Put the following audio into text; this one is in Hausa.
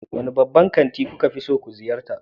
Wane babban kanti kuka fi ziyarta?